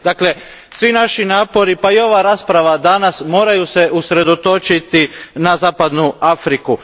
Dakle, svi naši napori, pa i ova rasprava danas moraju se usredotočiti na zapadnu Afriku.